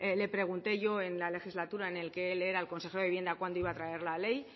le pregunté yo en la legislatura en la que él era el consejero de vivienda cuándo iba a traer la ley